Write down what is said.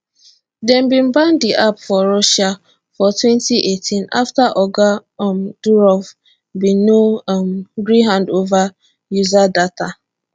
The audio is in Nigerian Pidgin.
dem bin ban di app for russia for 2018 afta oga um durov bin no um gree hand over user data